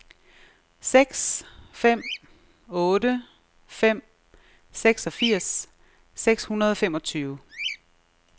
seks fem otte fem seksogfirs seks hundrede og femogtyve